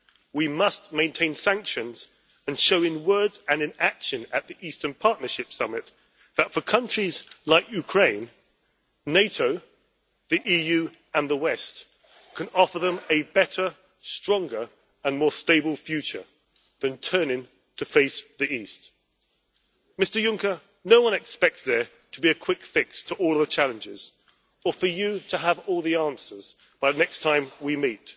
We must maintain sanctions and show in words and in action at the Eastern Partnership Summit that, for countries like Ukraine, NATO, the EU and the West can offer them a better, stronger and more stable future than turning to face the east. Mr Juncker, no one expects there to be a quick fix to all the challenges, or for you to have all the answers by the next time we meet.